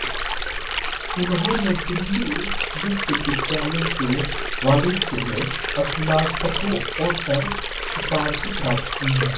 उन्होंने दिल्ली विश्वविद्यालय से वाणिज्य में स्नातकोत्तर उपाधि प्राप्त की है